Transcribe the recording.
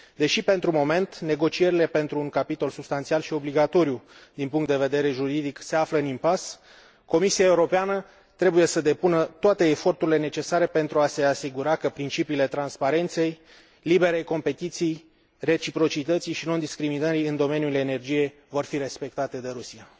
Deși, pentru moment, negocierile pentru un capitol substanțial și obligatoriu din punct de vedere juridic se află în impas, Comisia Europeană trebuie să depună toate eforturile necesare pentru a se asigura că principiile transparenței, liberei concurențe, reciprocității și nediscriminării în domeniul energiei vor fi respectate de Rusia.